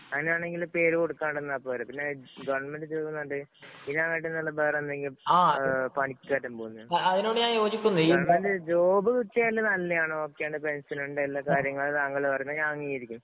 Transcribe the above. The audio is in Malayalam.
അങ്ങനെയാണെങ്കില്‍ പേര് കൊടുക്കാണ്ടിരുന്നാ പോരെ. പിന്നെ ഗവണ്മെന്‍റ് ജോബ്‌ എന്ന് പറഞ്ഞിട്ട്, ഇതിനെക്കാട്ടില് വേറെ എന്തെങ്കിലും പണിക്കായിട്ട് പോകുന്നതല്ലേ. ജോബ്‌ കിട്ടിയാല് നല്ലയാണ്, ഓക്കെയാണ്.പെന്‍ഷന്‍ ഉണ്ട്, എല്ലാകാര്യങ്ങളും താങ്കള്‍ പറയുന്നത് ഞാന്‍ അംഗീകരിക്കുന്നു.